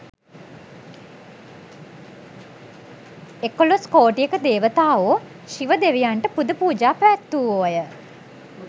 එකොළොස් කෝටියක දේවතාවෝ ශිව දෙවියන්ට පුදපූජා පැවැත්වූවෝය.